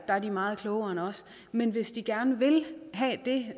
er meget klogere end os men hvis de gerne vil have det